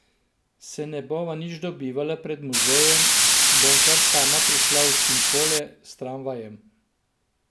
Se ne bova nič dobivala pred muzejem, bom kar sama prišla v Činkole, s tramvajem.